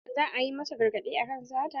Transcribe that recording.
Za a yi masa gargaɗi akan sata.